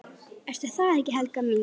Ertu það ekki, Helga mín?